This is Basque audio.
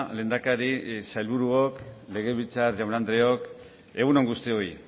lehendakari sailburuok legebiltzar jaun andreok egun on guztioi